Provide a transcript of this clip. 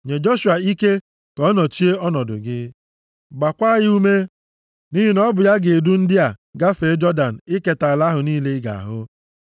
Nye Joshua ike ka ọ nọchie ọnọdụ gị. Gbaakwa ya ume, + 3:28 \+xt Ọnụ 27:18,23; Dit 31:3,7-8,23\+xt* nʼihi na ọ bụ ya ga-edu ndị a gafee Jọdan iketa ala ahụ niile ị ga-ahụ.”